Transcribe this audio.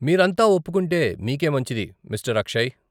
మీరంతా ఒప్పుకుంటే మీకే మంచిది, మిస్టర్ అక్షయ్.